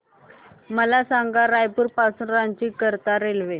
मला सांगा रायपुर पासून रांची करीता रेल्वे